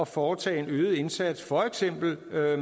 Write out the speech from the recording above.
foretage en øget indsats for eksempel